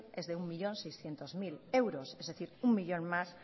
es de un millón seiscientos mil euros es decir un millón más